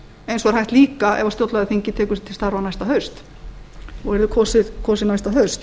eins og er hægt líka ef stjórnlagaþingið tekur til starfa næsta haust og verður kosið næsta haust